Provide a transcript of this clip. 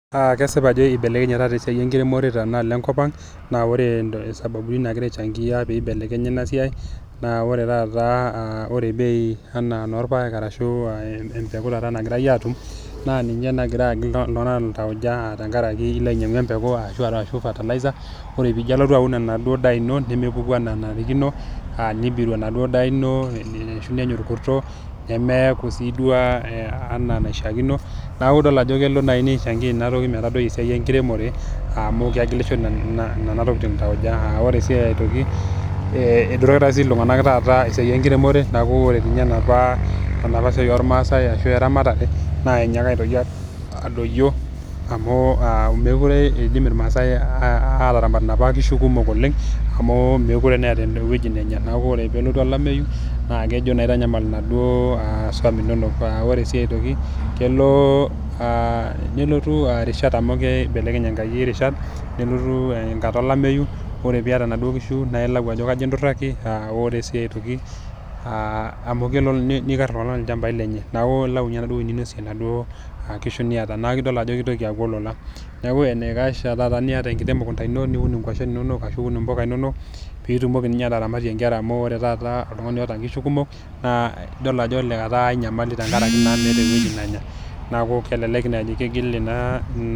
Aa kesipa ajo ibelekenye taata ena siai enkiremore tena alo enkop ang' naa ore sababu ni nagira ai changia pibelekenya ina siai naa ore taata ore bei ena enoorpaek arashu empeku taata nagirai atum naa ninye nagira agil iltung'anak iltauja tenkaraki ilo ainyang'u empeku arshu fertilizer, ore piijo ilo aun enaduo daa ino nemepuku enaa nanarikino, aa nibiru enaduo daa ino ashu nenya orkurto, nemeeku sii duo ena enaishaakino. Naaku idol ajo kelo nai nishangia ina toki nmetadoi esiai enkiremore amu kegilisho nena tokitin iltauja aa ore sii aitoki ee etureita taata iltung'anak esiai enkiremore naaku ore ninye enapa enapa siai ormaasai ashu eramatare naa inyaaka aitoki adoyio amu aa mekure iidim irmaasai ataramat inap kishu kumok oleng' amu mekure naa eeta ewoji nenya naaku ore peelotu olameyu naa kejo naa itanyamal ina duo swam inonok. Aa ore sii aitoki kelo aa nelotu rishat amu kibelekeny enkai rishat nelotu enkata olameyu ore piyata naduo kishu naye ilau ajo kaji induraki naa ore sii aitoki aa amu kelo niikar iltung'anak ilchambai lenye neeku ilau nye enaduo woi ninosie inaduo kishu niyata. Naake intoki adol ajo kitoki aaku olola. Neeku enaikash taa taata niyata enkiti mukunda ino niun nkwashen inonok ashu niun mpuka inonok piitumoki ninye ataramatie nkera amu ore taata oltung'ani oata nkishu kumok naa idol ajo etaa enyamali tenkaraki naa meeta ewoji nenya. Neeku kelelek naji kegil ina...